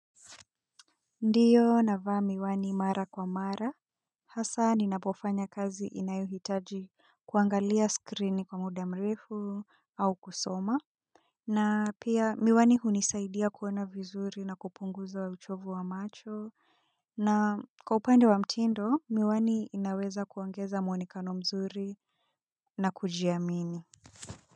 Ndiyo navaa miwani mara kwa mara, hasa ninapofanya kazi inayohitaji kuangalia skrini kwa muda mrefu au kusoma. Na pia miwani hunisaidia kuona vizuri na kupunguza wa uchovu wa macho, na kwa upande wa mtindo miwani inaweza kuongeza mwonekano mzuri na kujiamini.